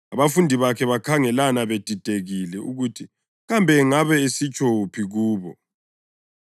Abafundi bakhe bakhangelana bedidekile ukuthi kambe angabe esitsho wuphi kubo.